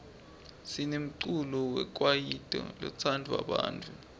sinemculo wekwaito lotsandwa bantfu